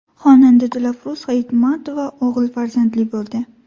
Xonanda Dilafruz Hayitmatova o‘g‘il farzandli bo‘ldi.